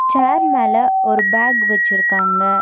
சேர் மேல ஒரு பேக் வெச்சிருக்காங்க.